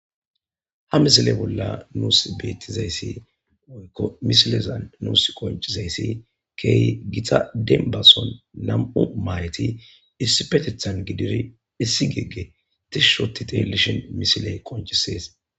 Haa missile bolla nusi betizayissi woyikko missilezanni nusi qonccizayiss kehi Gita denniba sohon nam''u mahetti issippeteththan gididi issi gg tishshi oththi xeelishin missileyi qonccisess.